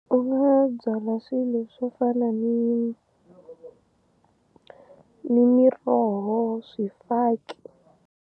U nga byala swilo swo fana ni ni miroho swifaki.